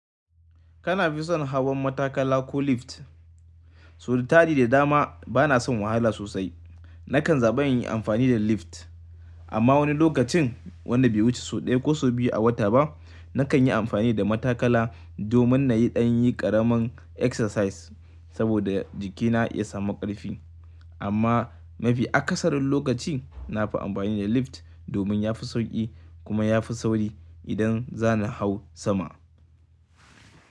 Kana fi son hawan matakala ko lift? So da tadi da dama bana son wahala sosai. Nakan zaɓi in yi amfani da lift. Amma wani lokacin wanda bai wuce sau ɗaya ko sau biyu a wata ba, nakan yi amfani da matakala domin na yi ɗan yi ƙaramin exercise saboda jikina ya samu ƙarfi. Amma mafi akasarin lokaci nafi amfani da lift domin yafi sauƙi kuma yafi sauri idan zani hau sama.